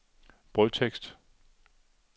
brødtekst